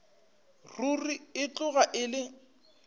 ruri e tloga e le